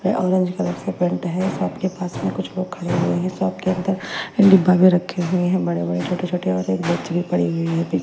ये orange colour से paint है शॉप के पास में कुछ लोग खड़े हुए हैं शॉप के अंदर डिब्बा भी रखे हुए हैं बड़े-बड़े छोटे-छोटे और बेच भी पड़ी हुई है।